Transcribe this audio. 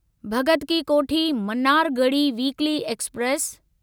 Bhagat Ki Kothi Mannargudi weekly express